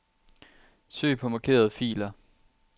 Søg på markerede filer.